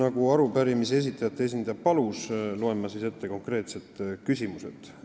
Nagu arupärimise esitajate esindaja palus, loen ma konkreetsed küsimused ette.